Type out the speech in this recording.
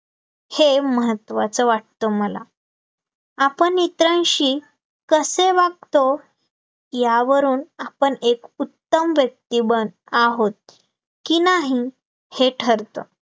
हे महत्त्वाचं वाटतं मला, आपण इतरांशी कसे वागतो? यावरून आपण एक उत्तम व्यक्ती बन आहोत, की नाही हे ठरतं